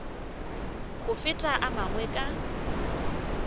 go feta a mangwe ka